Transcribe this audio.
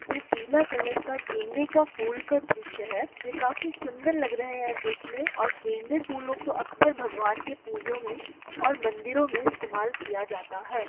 यह पीले कलर का गेंदे का फूल का दृश्य है जो काफी सुंदर लग रहे हैं देखने और गेंदे फूालों को अक्सर भगवान के पूजाो में और मंदिरों में अक्सर प्रयोग किया जाता है।